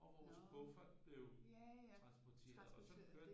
Og vores kuffert blev transporteret og sådan kørte det